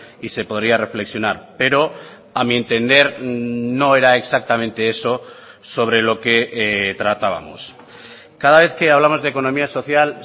y se podría reflexionar pero a mí entender no era exactamente eso sobre lo que tratábamos cada vez que hablamos de economía social